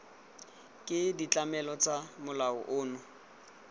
ke ditlamelo tsa molao ono